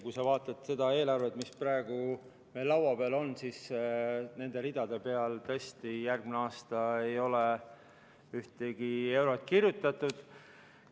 Kui sa vaatad seda eelarvet, mis praegu meil laua peal on, siis nende ridade peale ei ole järgmiseks aastaks tõesti ühtegi eurot kirjutatud.